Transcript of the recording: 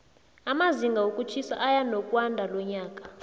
amazinga wokutjhisa eyanokwandalonyaka